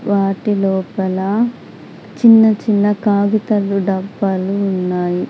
వాటి లోపల చిన్నచిన్న కాగితలు డబ్బాలు ఉన్నాయి.